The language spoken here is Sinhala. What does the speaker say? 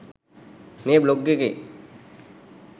මේ බ්ලොග් එකේ